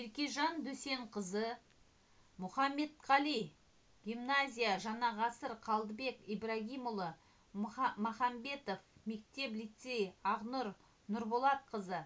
еркежан досенқызы мұхаметқали гимназия жаңа ғасыр қалдыбек ибрагимұлы махамбетов мектеп-лицей ақнұр нұрболқызы